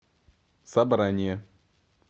собрание